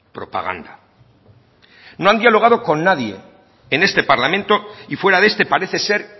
propaganda no han dialogado con nadie en este parlamento y fuera de este parece ser